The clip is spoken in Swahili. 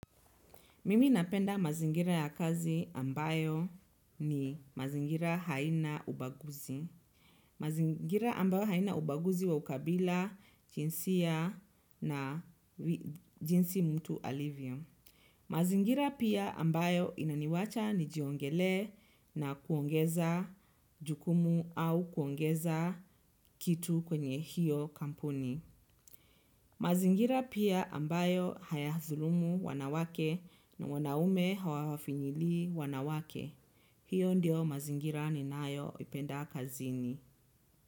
Mimi napenda mazingira ya kazi ambayo ni mazingira haina ubaguzi. Mazingira ambayo haina ubaguzi wa ukabila, jinsia na jinsi mtu alivyo. Mazingira pia ambayo inaniwacha nijiongelee na kuongeza jukumu au kuongeza kitu kwenye hiyo kampuni. Mazingira pia ambayo hayadhulumu wanawake na wanaume hawawafinyilii wanawake. Hiyo ndio mazingira ninayoipenda kazini.